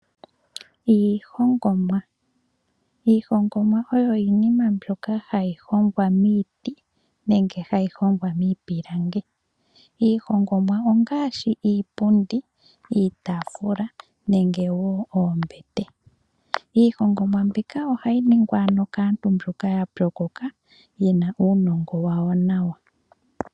Iihongomwa ,iihongomwa oyo iinima mbyoka hayi hongwa miiti nenge hayi hongwa miipilangi. Iihongomwa ongaashi iipundi, iitafula nenge wo oombete. Iihongomwa mbika ohayi ningwa kaantu mboka yapyokoka yena uunongo wawo nawa.